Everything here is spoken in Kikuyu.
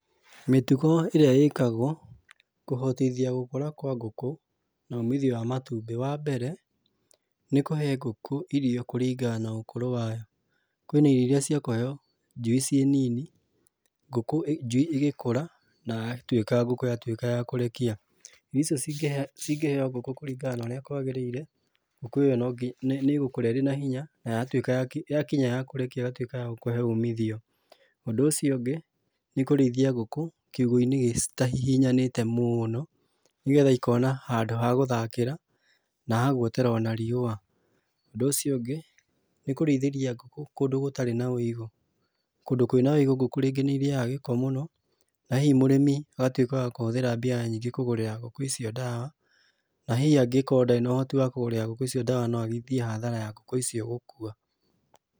Mitugo ĩrĩa ĩkagwo kũhotithia gũkũra kwa ngũkũ na umithio wa matumbĩ, wa mbere nĩkũhe ngũkũ irio kũringana na ũkũrũ wa yo. Kwĩna irio irĩa cia kũheyo njui cĩ nini, ngũkũ njui igĩkũra na ya tuĩka ngũkũ yatuĩka ya kũrekia. Icio ci ngĩheyo ngũkũ kũringana na ũrĩa kwagĩrĩire ngũkũ ĩyo nĩ ĩgũkũra ĩna hinya na yatuĩka na ya kinya ya kũrekia ĩgatuĩka ya gũkũhe umithio. Ũndũ ũcio ũngĩ nĩ kũrĩithia ngũkũ kiugũ-inĩ gĩtahihinyanĩte mũno nĩgetha ikona handũ hagũthakĩra na haguotera o na riũa. Ũndũ ũcio ũngĩ nĩ kũrĩithĩria ngũkũ kũndũ gũtarĩ na ũigũ. Kũndũ kwina ũigũ rĩngĩ ngũkũ nĩirĩyaga gĩko mũno na hihi mũrĩmi agatuĩka wa kũhũthĩra mbia nyingĩ kũgũrĩra ngũkũ icio ndawa na hihi angĩkorwo ndari na ũhoro wa kũgũrĩra ngũkũ icio ndawa no athiĩ hathara ya ngũkũ icio gũkua.